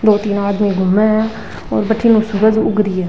दो तीन आदमी घूमे है और बठीनु सूरज उग रियो।